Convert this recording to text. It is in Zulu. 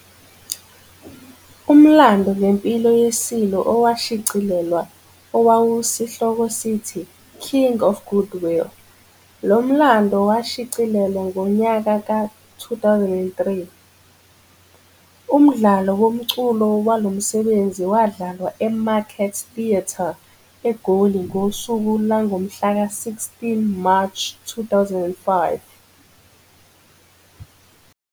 Umlando ngempilo yeSilo owashicilelwa owawusihloko sithi, King of Goodwill, lo mlando washicilelwa ngonyaka ka-2003. Umdlalo womculo walomsebenzi wadlala eMarket Theatre, eGoli ngosuku langomhlaka16 March 2005.